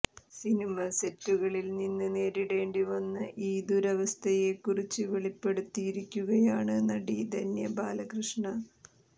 cinema സെറ്റുകളിൽ നിന്ന് നേരിടേണ്ടി വന്ന ഈ ദുരവസ്ഥയെ കുറിച്ച് വെളിപ്പെടുത്തിയിരിക്കുകയാണ് നടി ധന്യ ബാലകൃഷ്ണ